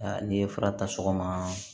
Aa n'i ye fura ta sɔgɔma